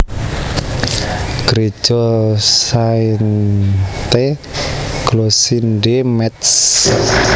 Gréja Sainte Glossinde Métz